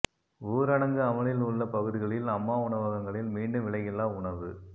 ஊரடங்கு அமலில் உள்ள பகுதிகளில் அம்மா உணவகங்களில் மீண்டும் விலையில்லா உணவு